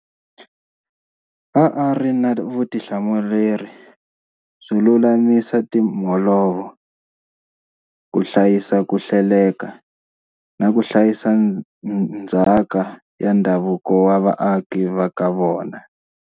A a ri na vutihlamuleri byo lulamisa timholovo, ku hlayisa ku hleleka, na ku hlayisa ndzhaka ya ndhavuko wa vaaki va ka vona.